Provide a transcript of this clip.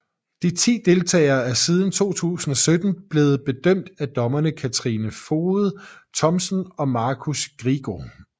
De ti deltagere er siden 2017 blevet bedømt af dommerne Katrine Foged Thomsen og Markus Grigo